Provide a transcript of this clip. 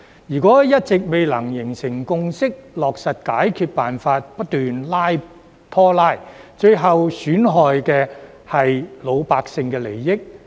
如果一直未能形成共識，落實解決辦法，不斷拖拉，最後損害的是老百姓的利益。